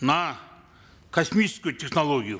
на космическую технологию